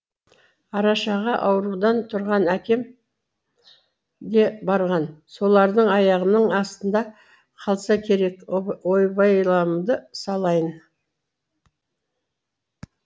арашаға аурудан тұрған әкем де барған солардың аяғының астында қалса керек ой байламды салайын